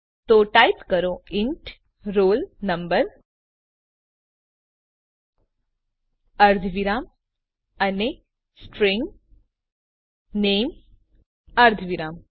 તો ટાઈપ કરો int roll number અર્ધવિરામ અને સ્ટ્રીંગ નામે અર્ધવિરામ